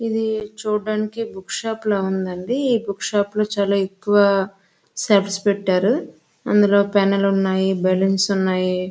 ఇది చూడ్డానికి book shop లా ఉందండి ఈ బుక్ షాప్ లో ఎక్కువ సెట్స్ పెట్టారు అందులో పెన్నులు ఉన్నాయి బలూన్స్ ఉన్నాయి.